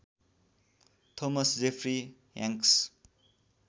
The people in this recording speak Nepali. Thomas Jeffrey Hanks